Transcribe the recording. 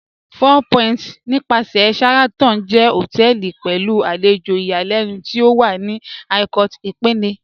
Four Point nípàsẹ̀ Sheraton jẹ́ hotẹẹli pẹ̀lú alẹjò ìyàlẹnu tí ó wà ní Ikot Ekpene